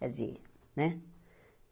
Quer dizer, né?